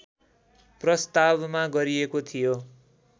प्रस्तावमा गरिएको थियो